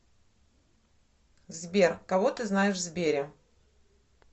сбер кого ты знаешь в сбере